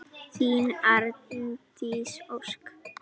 Þín Arndís Ósk.